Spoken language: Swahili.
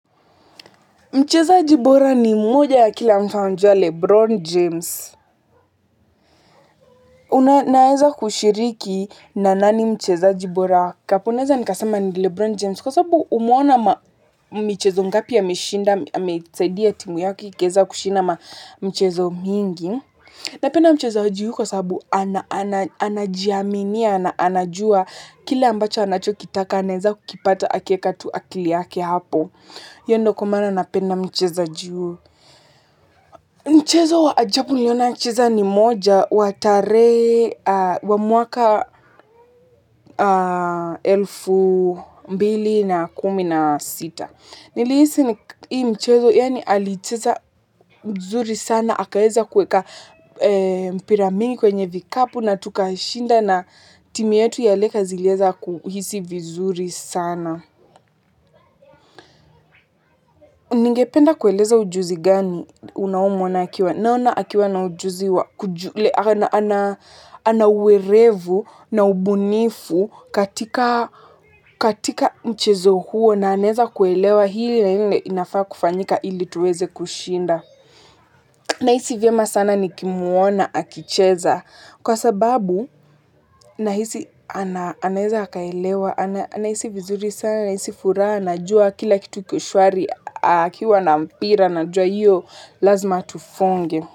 Mchezaji bora ni mmoja, kila mtu anamjua, LeBron James. Naweza kushiriki na nani mchezaji bora. Kapu unaweza nikasema ni LeBron James. Kwa sababu umeona michezo mingapi ya ameshinda, amesaidia timu yake, kuweza kushinda michezo mingi. Napenda mchezaji huyu kwa sababu anajiaminia, anajua kila ambacho anakitaka, anaweza kukipata akiweka akili yake hapo. Hiyo ndiyo kwa maana napenda mchezaji huyu. Mchezo wa ajabu niliona mchezaji ni mmoja wa mwaka elfu mbili kumi na sita. Nilihisi ni mchezo yaani alicheza mzuri sana. Akaweza kuweka mpira mingi kwenye vikapu na tukashinda na timu yetu ya leka zileza kuhisi vizuri sana. Ningependa kueleza ujuzi gani unaomwezesha? Naona akiwa na ujuzi, ana uerevu na ubunifu katika mchezo huo na anaweza kuelewa hili na lile linafaa kufanyika ili tuweze kushinda. Nahisi vyema sana nikimwona akicheza kwa sababu nahisi anaweza kuelewa, anahisi vizuri sana, anahisi furaha, anajua kila kitu kwa usahihi, akiwa na mpira, anajua hapo lazima afunge.